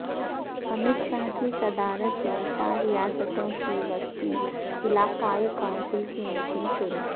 امت شاہ کی صدارت میں چار ریاستوں کی وسطی علاقائی کونسل کی میٹنگ شروع